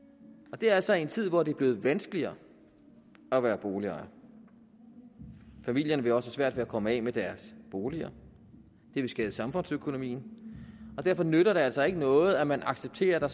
det er altså i en tid hvor det er blevet vanskeligere at være boligejer familierne vil også have svært ved at komme af med deres boliger det vil skade samfundsøkonomien derfor nytter det altså ikke noget at man accepterer at der